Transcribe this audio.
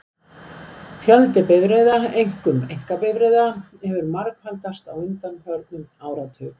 Fjöldi bifreiða, einkum einkabifreiða, hefur margfaldast á undanförnum áratug.